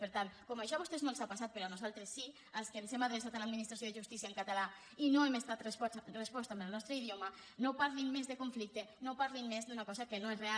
per tant com això a vostès no els ha passat però a nos·altres sí als que ens hem adreçat a l’administració de justícia en català i no hem estat respostos en el nos·tre idioma no parlin més de conflicte no parlin més d’una cosa que no és real